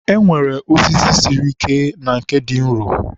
e nwere osisi siri ike na nke dị nro.